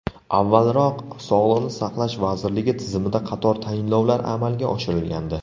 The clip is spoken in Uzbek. Avvalroq Sog‘liqni saqlash vazirligi tizimida qator tayinlovlar amalga oshirilgandi.